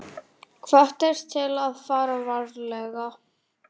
Hvattir til að fara varlega